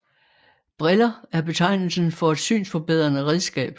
Briller er betegnelsen for et synsforbedrende redskab